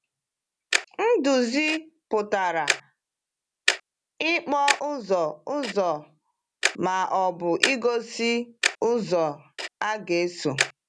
“Iduzi” pụtara “ịkpọ ụzọ ụzọ ma ọ bụ igosi ụzọ a ga-eso.”